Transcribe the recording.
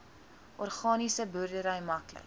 organiese boerdery maklik